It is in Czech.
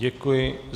Děkuji.